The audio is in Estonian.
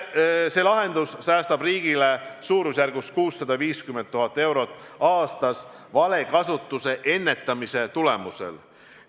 See lahendus säästab riigile 650 000 eurot aastas valekasutuse ennetamise tulemusel.